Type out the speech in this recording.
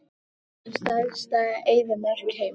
Hver er stærsta eyðimörk heims?